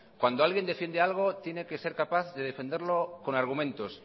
cuando alguien defiende algo tiene que ser capaz de defenderlo con argumentos